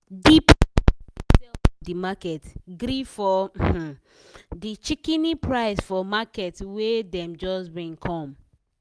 di people wey dey sell for di market gree for um di shikini price for market wey dem just bring come.